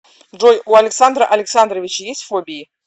джой у александра александровича есть фобии